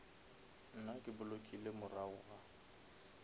nna ke blockile morago ga